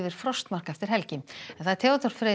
frostmark eftir helgi Theodór Freyr